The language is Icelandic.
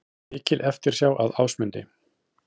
Mikil eftirsjá að Ásmundi